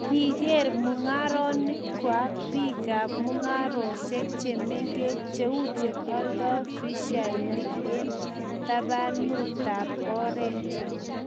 kiker mung'arenikwach biikab mung'aresiek che mengechen cheu che oldoi fiasinik eng' tabanutab ortinwek.